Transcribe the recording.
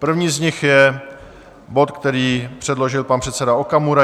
První z nich je bod, který předložil pan předseda Okamura.